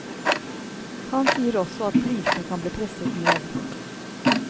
Han sier også at prisene kan bli presset ned.